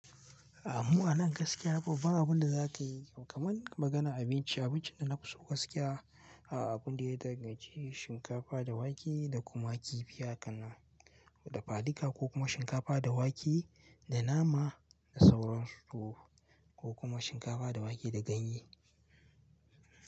A'a mu a nan gaskiya babban abin da za ka yi kam kuman maganan abinci, abincin da na fi so gaskiya aa abun da ya danganci shinkafa da wake da kuma kifi haka dafa dika ko kuma shinkafa da wake da nama da sauran su ko kuma shinkafa da wake da ganye.